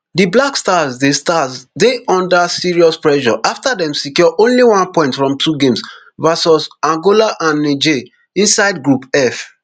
di black stars dey stars dey under serious pressure afta dem secure only one point from two games vs angola and niger inside group f